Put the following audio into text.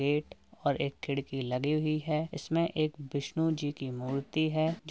Gate और एक खिड़की लगी हुई है। इसमें एक विष्णु जी की मूर्ति है। ज --